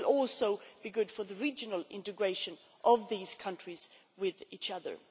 It will also be good for the regional integration of these countries with each other.